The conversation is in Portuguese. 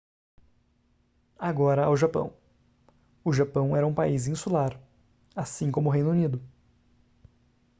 agora ao japão o japão era um país insular assim como o reino unido